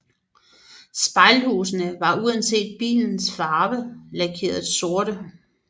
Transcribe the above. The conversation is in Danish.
Spejlhusene var uanset bilens farve lakeret sorte